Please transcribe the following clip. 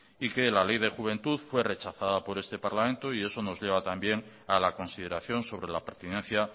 y que la ley de juventud fue rechazada por este parlamento y eso nos lleva también a la consideración sobre la pertinencia